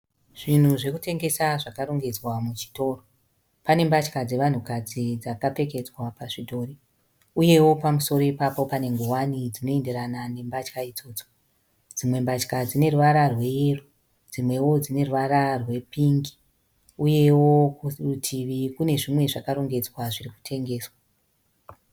Zvinhu zvekutengesa zvakarongedzwa muchitoro. Pane mbatya dzevanhu kadzi dzakapfekedzwa pazvidhori. Uyewo pamusoro ipapo pane ngowani dzinoenderana nembatya idzodzo. Dzimwe mbatya dzine ruwara rwe yero dzimwewo dzine ruvara rwe pingi . Uyewo kurutivi Kune zvimwe zvakarongedzwa zviri kutengeswa.